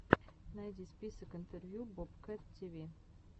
найди список интервью бобкэт тиви